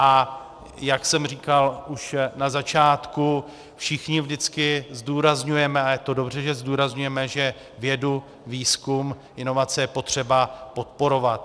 A jak jsem říkal už na začátku, všichni vždycky zdůrazňujeme, a je to dobře, že zdůrazňujeme, že vědu, výzkum, inovace je potřeba podporovat.